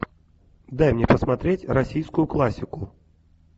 дай мне посмотреть российскую классику